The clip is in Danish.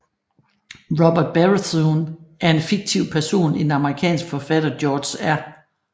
Robert Baratheon er en fiktiv person i den amerikanske forfatter George R